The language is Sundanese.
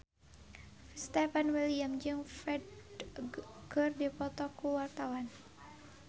Stefan William jeung Ferdge keur dipoto ku wartawan